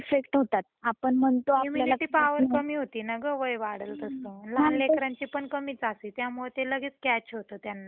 Immunity power कमी होते ना गं वय वाढल तस लहान लेकरांची पण कमीच असती त्यामुळे ते लगेच कॅच होत त्यांना व्हायरल इन्फेक्शन.